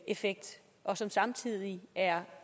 effekt og som samtidig er